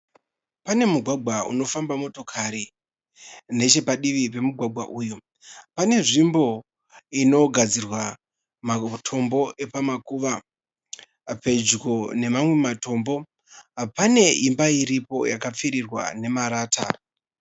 Pane mugwagwa unofamba motokari, nechepadivi pemugwagwa uyu pane nzvimbo inogadzirwa matombo epamakuva. Pedyo nemamwe matombo pane imba iripo yakapfirirwa nemarata.